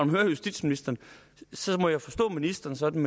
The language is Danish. man hører justitsministeren må jeg forstå ministeren sådan